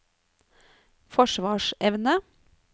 forsvarsevne